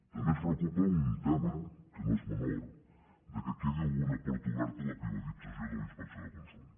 també ens preocupa un tema que no és menor que quedi alguna porta oberta a la privatizació de la inspecció de consum